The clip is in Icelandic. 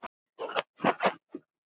Og hann var léttur þá.